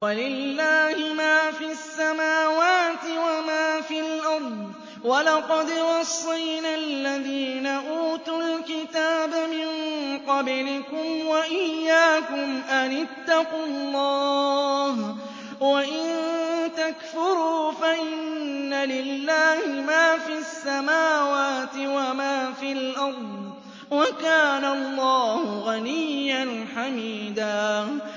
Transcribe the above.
وَلِلَّهِ مَا فِي السَّمَاوَاتِ وَمَا فِي الْأَرْضِ ۗ وَلَقَدْ وَصَّيْنَا الَّذِينَ أُوتُوا الْكِتَابَ مِن قَبْلِكُمْ وَإِيَّاكُمْ أَنِ اتَّقُوا اللَّهَ ۚ وَإِن تَكْفُرُوا فَإِنَّ لِلَّهِ مَا فِي السَّمَاوَاتِ وَمَا فِي الْأَرْضِ ۚ وَكَانَ اللَّهُ غَنِيًّا حَمِيدًا